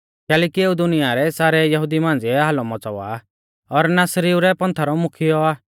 कैलैकि एऊ दुनिया रै सारै यहुदी मांझ़िऐ हालौ मौच़ावा आ और नासरीउ रै पंथा रौ मुख्यौ आ